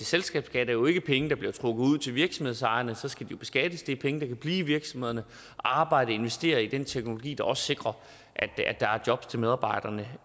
selskabsskat er jo ikke penge der bliver trukket ud til virksomhedsejerne så skal de beskattes det er penge der kan blive i virksomhederne og arbejde investere i den teknologi der også sikrer at der er jobs til medarbejderne